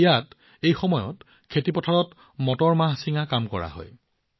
ইয়াত আজিকালি মটৰ ছিঙাৰ কাম চলিছে